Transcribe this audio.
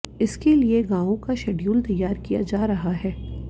इसके लिए गांवों का शैडयूल तैयार किया जा रहा है